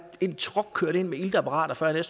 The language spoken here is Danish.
en truck kørt ind med iltapparater for at jeg